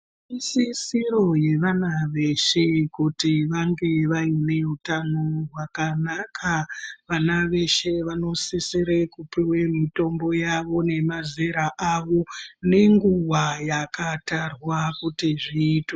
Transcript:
Isisiro yevana veshe kuti vange vaine hutano hwakanaka vana veshe vanosisira kupuwa mutombo yavo nemazera awo nenguwa yakatarwa kuti zviitwe.